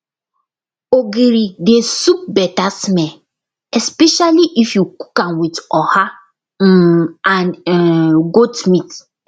ogiri dey soup better smell especially if you cook am with oha um and um goat meat